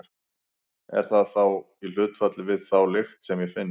Er það þá í hlutfalli við þá lykt sem ég finn?